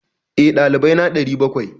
Eh, dalibai na 700.